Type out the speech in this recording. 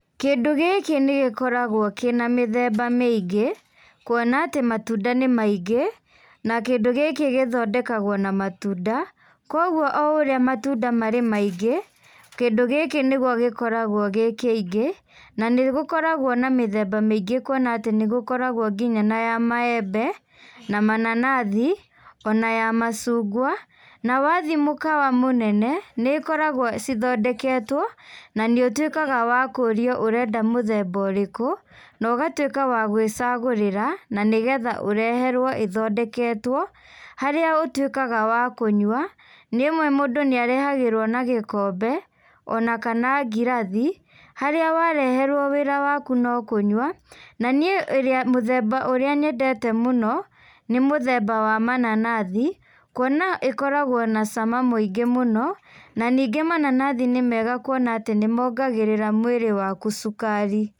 Kĩndũ gĩkĩ nĩgĩkoragwo kĩna mĩthemba mĩingĩ, kuona atĩ matunda nĩ maingĩ, na kĩndũ gĩkĩ gĩthondekagwo na matunda, koguo o ũrĩa matunda marĩ maingĩ, kĩndũ gĩkĩ nĩguo gĩkoragwo gĩ kĩingĩ, na nĩgũkoragwo na mĩthemba mĩingĩ kuona atĩ nĩgũkoragwo nginya ya maembe, na mananathi, ona ya macungwa, nawathiĩ mũkawa mũnene, nĩkoragwo cithondeketwo, na nĩũtuĩkaga wa kũrio ũrenda mũthemba ũrĩkũ, na ũgatuĩka wa gwĩcagũrĩra, na nĩgetha ũreherwo ĩthondeketwo, harĩa ũtuĩkaga wa kũnywa, rĩmwe mũndũ nĩarehagĩrwo na gĩkombe, ona kana ngirathi, harĩa wareherwo wĩra waku no kũnyua, na nĩ ĩrĩa mũthemba ũrĩa nyendete mũno, nĩ mũthemba wa mananathi, kuona ĩkoragwo na cama mũingĩ mũno, na ningĩ mananathi nĩmega kuona atĩ nĩmongagĩrĩra mwĩrĩ waku cukari.